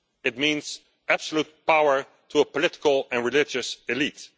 It means absolute power to a political and religious elite.